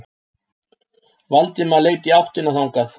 Valdimar leit í áttina þangað.